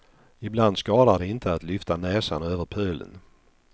Ibland skadar det inte att lyfta näsan över pölen.